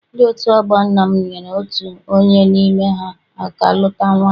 Ndị otu ọgbọ nna m nyere otu onye n'ime ha aka ga luta nwaanyị.